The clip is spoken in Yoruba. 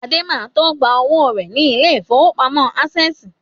Adé ma tó gba owó rẹ̀ ní ilé ìfowópamọ́ Ásẹ̀sì